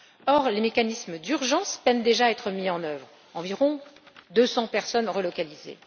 Or, les mécanismes d'urgence peinent déjà à être mis en œuvre, pour environ 200 personnes relocalisés.